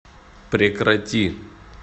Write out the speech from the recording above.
прекрати